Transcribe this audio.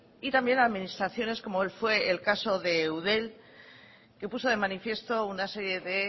y también administraciones como fue el caso de eudel que puso de manifiesto una serie de